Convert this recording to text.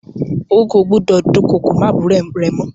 Ó kò gbọ́dọ̀ dúnkokò mọ́ àbúrò rẹ mọ.